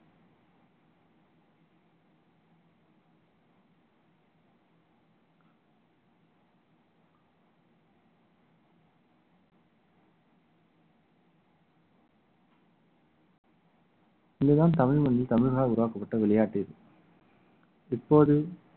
இதுதான் தமிழ் மண்ணில் தமிழனால் உருவாக்கப்பட்ட விளையாட்டு இது இப்போது